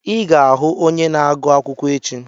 Ị ga-ahụ onye na-agụ akwụkwọ echi!